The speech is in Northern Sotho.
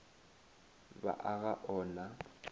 ba a ga o na